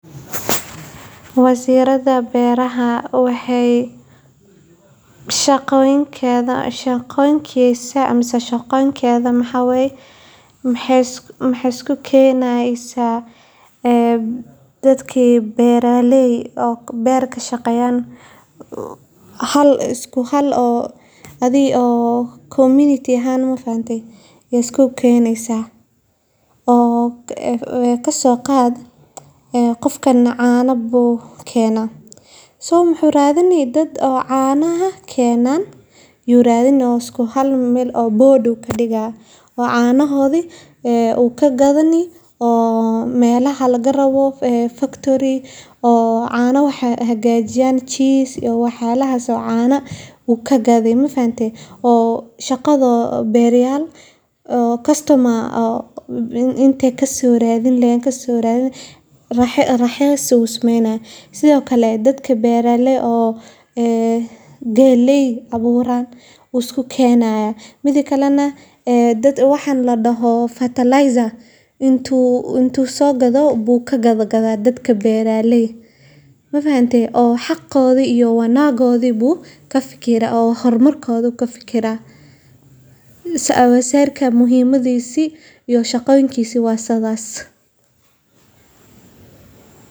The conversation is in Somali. Wasaaradda Beeraha waa hay'ad dowladeed oo mas'uul ka ah horumarinta, qorsheynta, iyo kor u qaadista wax soo saarka beeraha ee dalka. Waxay ka shaqeysaa taageeridda beeraleyda iyada oo siisa tababaro, qalab, abuur tayo leh, iyo adeegyo farsamo si loo kordhiyo wax soo saarka iyo tayada cuntada gudaha. Sidoo kale, wasaaraddu waxay ka shaqeysaa ilaalinta deegaanka, maamulka biyaha waraabka, iyo horumarinta siyaasado beereed oo waara. Ujeeddada ugu weyn ee Wasaaradda Beeraha waa in la xaqiijiyo sugnaanta cuntada,